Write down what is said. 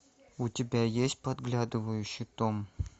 у тебя есть подглядывающий том